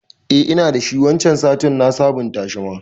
Eh ina dashi, waccan satin na sabon tashi ma